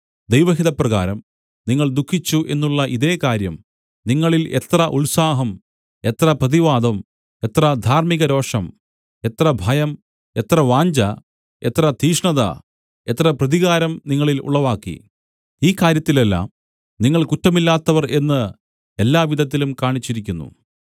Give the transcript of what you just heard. ദൈവഹിതപ്രകാരം നിങ്ങൾ ദുഃഖിച്ചു എന്നുള്ള ഇതേ കാര്യം നിങ്ങളിൽ എത്ര ഉത്സാഹം എത്ര പ്രതിവാദം എത്ര ധാർമ്മിക രോഷം എത്ര ഭയം എത്ര വാഞ്ഛ എത്ര തീക്ഷ്ണത എത്ര പ്രതികാരം നിങ്ങളിൽ ഉളവാക്കി ഈ കാര്യത്തിലെല്ലാം നിങ്ങൾ കുറ്റമില്ലാത്തവർ എന്ന് എല്ലാവിധത്തിലും കാണിച്ചിരിക്കുന്നു